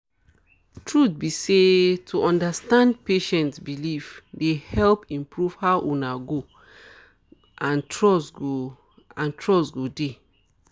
truth be say to understand patient beliefs dey help improve how una go and trust go and trust go dey